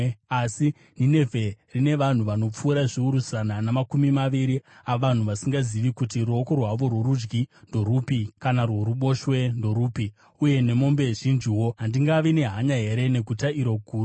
Asi Ninevhe rine vanhu vanopfuura zviuru zana namakumi maviri avanhu vasingazivi kuti ruoko rwavo rworudyi ndorupi kana rworuboshwe ndorupi, uye nemombe zhinjiwo. Handingavi nehanya here neguta iro guru?”